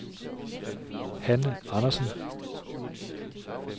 Hanne Andersen